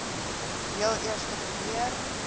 heel eerste probeer